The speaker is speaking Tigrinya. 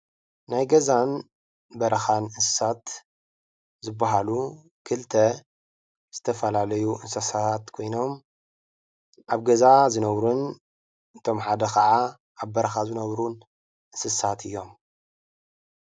ናይ ገዛን በረካን እንስሳት ዝባሃሉ ክልተ ዝተፈላለዩ እንስሳት ኮይኖም ኣብ ገዛ ዝነበሩን እቶም ሓደ ከዓ ኣብ በረካ ዝነብሩን እንስሳት እዮም፡፡